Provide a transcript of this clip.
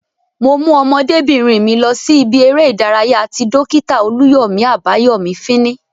Mo mú ọmọdébìnrin mi lọ sí ibi eré ìdárayá ti Dókítà Olúyọ̀mí Àbáyọ̀mí fíní